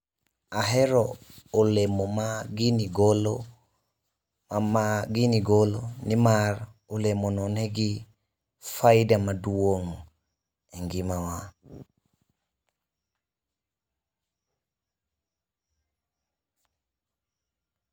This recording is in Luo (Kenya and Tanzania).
Ahero olemo ma gini golo ma gini golo nimar olemo no nigi faida maduong' e ngima wa.